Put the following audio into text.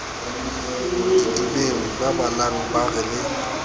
didibeng babalang ba re le